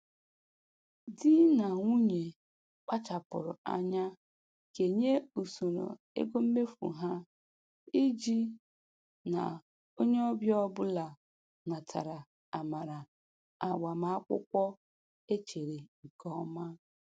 Di na nwunye kpachapụrụ anya kenye usoro ego mmefu ha iji na onye ọbịa ọbụla natara amara agbamakwụkwọ e chere nke ọma.